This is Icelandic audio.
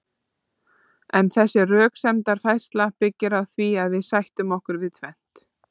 en þessi röksemdafærsla byggir á því að við sættum okkur við tvennt